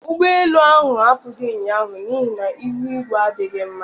Ụgbọ elu ahụ apughi ụnyaahụ n'ihi na ihu igwe adịghị mma.